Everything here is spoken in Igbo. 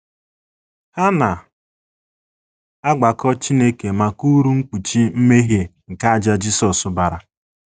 Ha na - agbakọ Chineke maka uru mkpuchi mmehie nke àjà Jisọs bara.